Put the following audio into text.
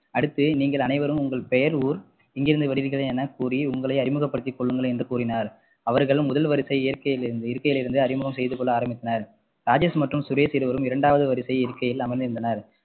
அடுத்து நீங்கள் அனைவரும் உங்கள் பெயர் ஊர் எங்கிருந்து வருகிறீர்கள் எனக்கூறி உங்களை அறிமுகப்படுத்திக்கொள்ளுங்கள் என்று கூறினார் அவர்களும் முதல் வரிசை இயற்கையிலிரு~ இருக்கையில் இருந்து அறிமுகம் செய்து கொள்ள ஆரம்பித்தனர் ராஜேஷ் மற்றும் சுரேஷ் இருவரும் இரண்டாவது வரிசை இருக்கையில் அமர்ந்திருந்தனர்